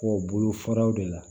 Kɔ bolo faraw de la